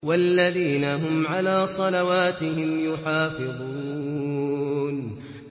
وَالَّذِينَ هُمْ عَلَىٰ صَلَوَاتِهِمْ يُحَافِظُونَ